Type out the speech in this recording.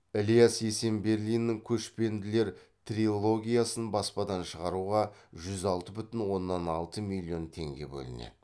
ілияс есенберлинның көшпенділер трилогиясын баспадан шығаруға жүз алты бүтін оннан алты миллион теңге бөлінеді